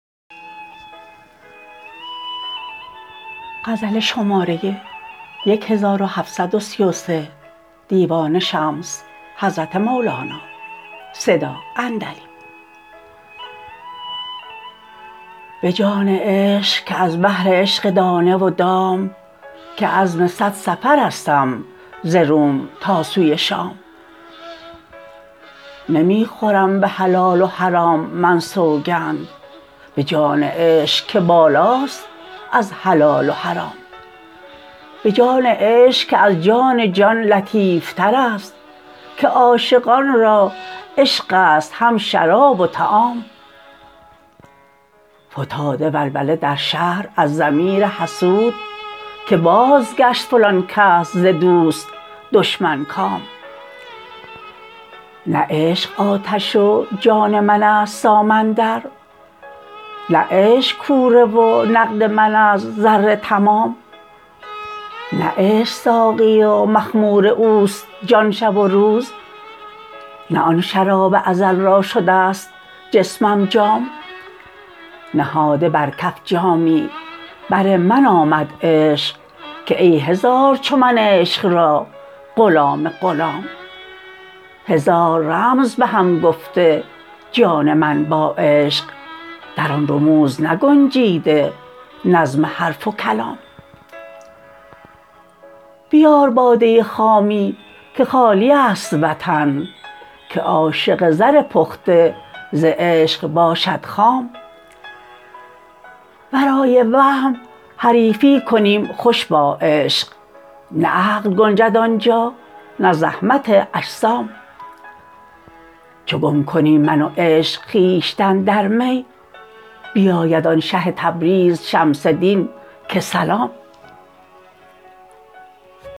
به جان عشق که از بهر عشق دانه و دام که عزم صد سفرستم ز روم تا سوی شام نمی خورم به حلال و حرام من سوگند به جان عشق که بالاست از حلال و حرام به جان عشق که از جان جان لطیفتر است که عاشقان را عشق است هم شراب و طعام فتاده ولوله در شهر از ضمیر حسود که بازگشت فلان کس ز دوست دشمن کام نه عشق آتش و جان من است سامندر نه عشق کوره و نقد من است زر تمام نه عشق ساقی و مخمور اوست جان شب و روز نه آن شراب ازل را شده ست جسمم جام نهاده بر کف جامی بر من آمد عشق که ای هزار چو من عشق را غلام غلام هزار رمز به هم گفته جان من با عشق در آن رموز نگنجیده نظم حرف و کلام بیار باده خامی که خالی است وطن که عاشق زر پخته ز عشق باشد خام ورای وهم حریفی کنیم خوش با عشق نه عقل گنجد آن جا نه زحمت اجسام چو گم کنیم من و عشق خویشتن در می بیاید آن شه تبریز شمس دین که سلام